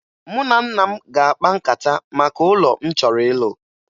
Mụ na nna m ga-akpa nkata maka ụlọ m chọrọ ịlụ